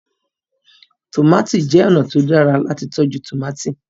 lẹẹ tomati jẹ ọnà tí o dára lati tọjú tomati.